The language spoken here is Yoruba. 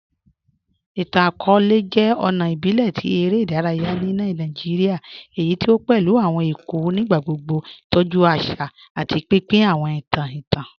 Ìtàn-akọọ̀lẹ̀ jẹ́ ọ̀nà ìbílẹ̀ tí èrè idàráyà ni Nàìjíríà èyí tí o pẹ̀lú awọn èkó nígbàgbogbo, tọ́jú àṣà, àti pínpín awọn ìtàn ìtàn.